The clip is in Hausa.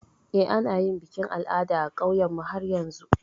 Eh, ana yin bikin al'ada a ƙauynmu har yanzu.